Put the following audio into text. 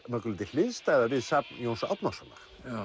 mörgu leyti hliðstæða við safn Jóns Árnasonar